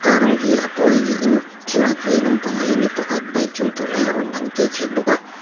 car rawng hi a pawl niin thlalak vei lampangah hianin mi pakhat bike chuang tur lai a rawn lang tel thei bawk a.